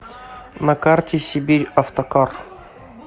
на карте сибирьавтокар